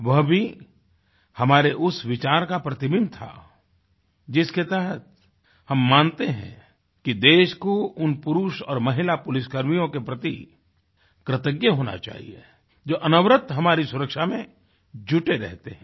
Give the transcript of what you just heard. वह भी हमारे उस विचार का प्रतिबिम्ब था जिसके तहत हम मानते हैं कि देश को उन पुरुष और महिला पुलिसकर्मियों के प्रति कृतज्ञ होना चाहिए जो अनवरत हमारी सुरक्षा में जुटे रहते हैं